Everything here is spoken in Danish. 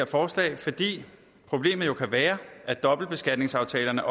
forslag fordi problemet jo kan være at dobbeltbeskatningsaftalerne